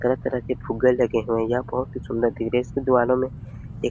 यह तरह तरह के फुग्गे लगे हुए है यह बहुत ही सुन्दर एक--